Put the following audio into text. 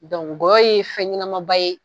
gɔyɔ ye fɛn ɲɛnamaba ye